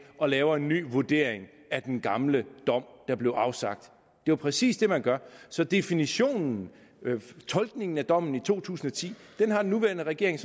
og laver en ny vurdering af den gamle dom der blev afsagt det er præcis det man gør så definitionen tolkningen af dommen i to tusind og ti har den nuværende regering